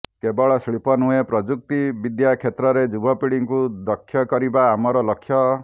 କେବଳ ଶିଳ୍ପ ନୁହେଁ ପ୍ରଯୁକ୍ତି ବିଦ୍ୟା କ୍ଷେତ୍ରରେ ଯୁବପିଢ଼ିଙ୍କୁ ଦକ୍ଷ କରିବା ଆମର ଲକ୍ଷ୍ୟ